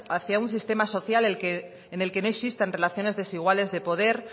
hacia un sistema social en el que no existan relaciones desiguales de poder